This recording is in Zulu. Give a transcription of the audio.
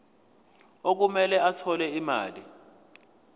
okumele athole imali